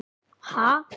Ha?!